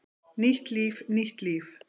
Nýtt líf, nýtt líf!